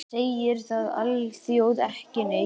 Segir það alþjóð ekki neitt?